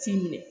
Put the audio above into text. F'i minɛ